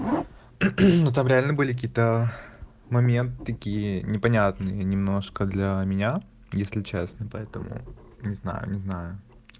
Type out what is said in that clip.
ну там реально были какие-то моменты такие непонятные немножко для меня если честно поэтому не знаю не знаю